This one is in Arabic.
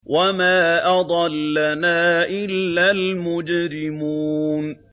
وَمَا أَضَلَّنَا إِلَّا الْمُجْرِمُونَ